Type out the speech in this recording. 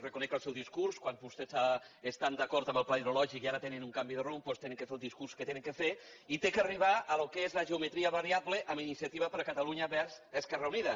reconec el seu discurs quan vostès estan d’acord amb el pla hidrològic i ara tenen un canvi de rumb doncs han de fer el discurs que han de fer i ha d’arribar al que és la geometria variable amb iniciativa per catalunya verds esquerra unida